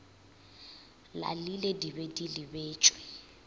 lalile di be di lebetšwe